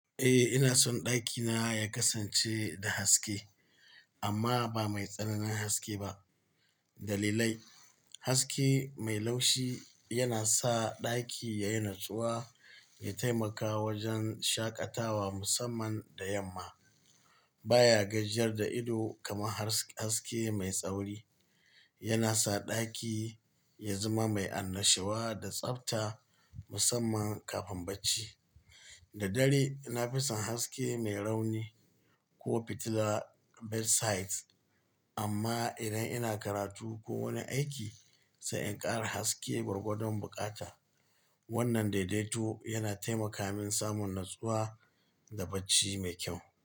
Eh, ina son ɗakina ya kasance da haske amma ba mai tsananin haske ba. Dalilai, haske mai laushi yana sa ɗaki ya yi natsuwa, ya taimaka wajen shaƙatawa musamman da yamma. Ba ya gajiyar da ido kamar haske mai tsauri. Yana sa ɗaki ya zama mai annashuwa da tsabta musamman kafin bacci. Da dare, na fi son haske mai rauni ko fitila bedside amma idan ina karatu ko wani aiki, sai in ƙara haske gwargwadon buƙata. Wannan daidaito yana taimaka min samun natsuwa da bacci mai kyau.